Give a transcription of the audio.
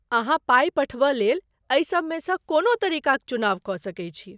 अहाँ पाइ पठबय लेल एहि सबमेसँ कोनो तरीकाक चुनाव कऽ सकैत छी।